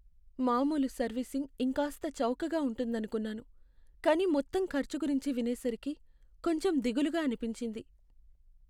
మామూలు సర్వీసింగ్ ఇంకాస్త చౌకగా ఉంటుందనుకున్నాను, కానీ మొత్తం ఖర్చు గురించి వినేసరికి కొంచెం దిగులుగా అనిపించింది.